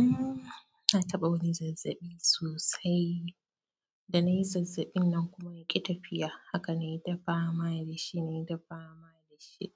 Umm, na taɓa wani zazzaɓi sosai. Da na yi zazzaɓin nan kuma ya ƙi tafiya. Haka na yi ta fama, mai da shi, na yi ta fama da shi.